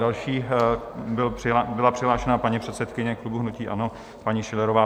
Další byla přihlášena paní předsedkyně klubu hnutí ANO paní Schillerová.